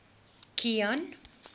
kilian